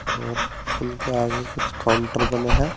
और उनके आगे कुछ काउंटर बने हैं।